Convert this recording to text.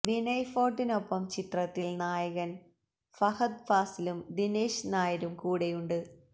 വിനയ് ഫോർട്ടിനൊപ്പം ചിത്രത്തിൽ നായകൻ ഫഹദ് ഫാസിലും ദിനേശ് നായരും കൂടെയുണ്ട്